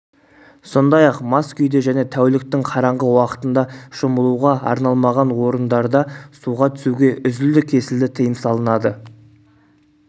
сондай-ақ мас күйде және тәуліктің қараңғы уақытында шомылуға арналмаған орындарда суға түсуге үзілді-кесілді тыйым салынады